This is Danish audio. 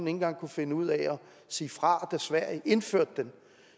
engang kunne finde ud af at sige fra da sverige indførte den